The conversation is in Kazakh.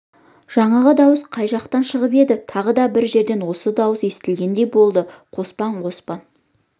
жаңағы дауыс қай жақтан шығып еді тағы да бір жерден сол дауыс естілгендей болды қоспан қоспан